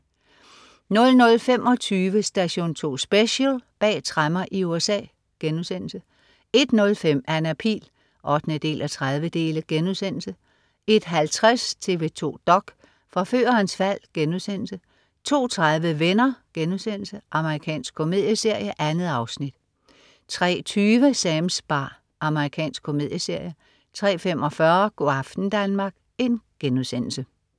00.25 Station 2 Special: Bag tremmer i USA* 01.05 Anna Pihl 8:30* 01.50 TV 2 dok.: Forførerens fald* 02.30 Venner.* Amerikansk komedieserie. 2 afsnit 03.20 Sams bar. Amerikansk komedieserie 03.45 Go' aften Danmark*